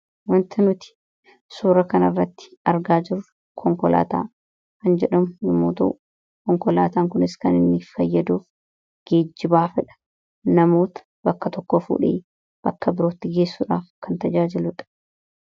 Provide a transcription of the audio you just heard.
Waanti nuti suura kana irratti argaa jirru konkolaataa kan jedhamu yemmuu ta'u; Konkolaataan kunis kan fayyaduuf geejibaafidha. namoota bakka tokkoo fuudhee bakka birootti geessuudhaaf kan tajaajiludha.